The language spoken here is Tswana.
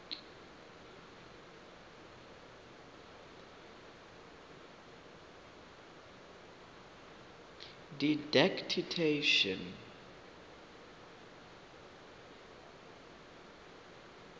didactician